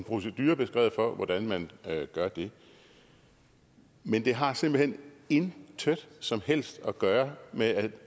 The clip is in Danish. procedure beskrevet for hvordan man gør det men det har simpelt hen intet som helst at gøre med at